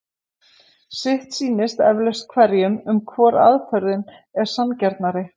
Sitt sýnist eflaust hverjum um hvor aðferðin er sanngjarnari.